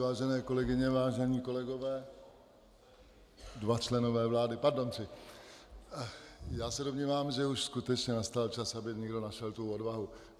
Vážené kolegyně, vážení kolegové, dva členové vlády, pardon, tři, já se domnívám, že už skutečně nastal čas, aby někdo našel tu odvahu.